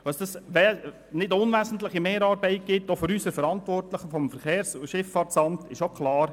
Dass dies zu einer nicht unwesentlichen Mehrarbeit für unsere Verantwortlichen beim SVSA führt, ist auch klar.